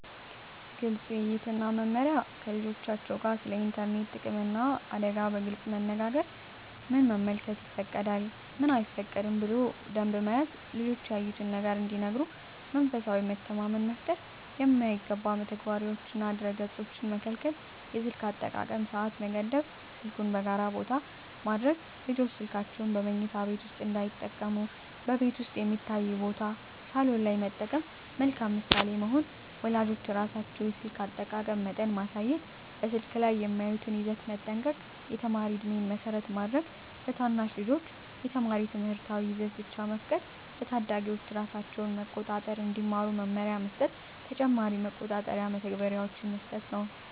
ግልፅ ውይይት እና መመሪያ ከልጆቻቸው ጋር ስለ ኢንተርኔት ጥቅምና አደጋ በግልፅ መነጋገር ምን መመልከት ይፈቀዳል፣ ምን አይፈቀድም ብሎ ደንብ መያዝ ልጆች ያዩትን ነገር እንዲነግሩ መንፈሳዊ መተማመን መፍጠር የማይገባ መተግበሪያዎችንና ድረ-ገፆችን መከልከል የስልክ አጠቃቀም ሰዓት መገደብ ስልኩን በጋራ ቦታ ማድረግ ልጆች ስልካቸውን በመኝታ ቤት ውስጥ እንዳይጠቀሙ በቤት ውስጥ የሚታይ ቦታ (ሳሎን) ላይ መጠቀም መልካም ምሳሌ መሆን ወላጆች ራሳቸው የስልክ አጠቃቀም መጠን ማሳየት በስልክ ላይ የሚያዩትን ይዘት መጠንቀቅ የተማሪ ዕድሜን መሰረት ማድረግ ለታናሽ ልጆች የተማሪ ትምህርታዊ ይዘት ብቻ መፍቀድ ለታዳጊዎች ራሳቸውን መቆጣጠር እንዲማሩ መመሪያ መስጠት ተጨማሪ መቆጣጠሪያ መተግበሪያዎች